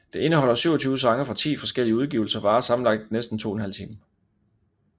Det indeholder 27 sange fra ti forskellige udgivelser og varer sammenlagt næsten 2½ time